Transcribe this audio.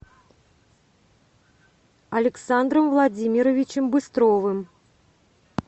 александром владимировичем быстровым